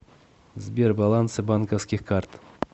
сбер балансы банковских карт